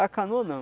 A canoa não.